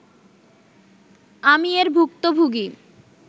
আমি এর ভুক্তভোগী